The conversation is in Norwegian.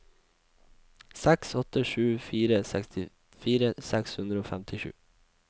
seks åtte sju fire sekstifire seks hundre og femtisju